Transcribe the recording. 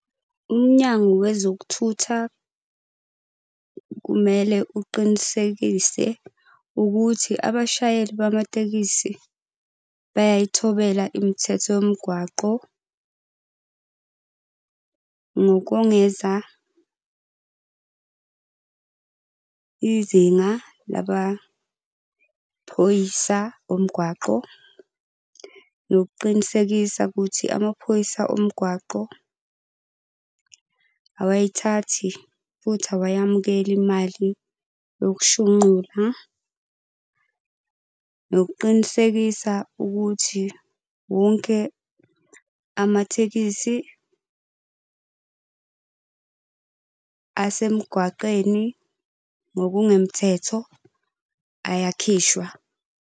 Umnyango wezokuthutha kumele uqinisekise ukuthi abashayeli bamatekisi bayayithobela imithetho yomgwaqo. Ngokongeza izinga labaphoyisa omgwaqo. Nokuqinisekisa ukuthi amaphoyisa omgwaqo awayithathi futhi awayamukela imali yokushunqula. Nokuqinisekisa ukuthi wonke amathekisi asemgwaqeni ngokungemthetho ayakhishwa.